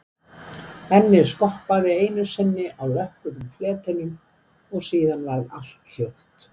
Ennið skoppaði einu sinni á lökkuðum fletinum og síðan varð allt hljótt.